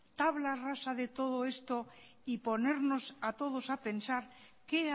tabla rasa de todo esto y ponernos a todos a pensar qué